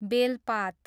बेलपात